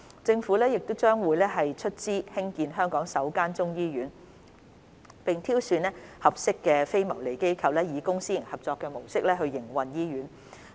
政府將會出資興建香港首間中醫醫院，並挑選合適的非牟利機構以公私營合作模式營運醫院。